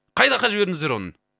қай жаққа жібердіңіздер оны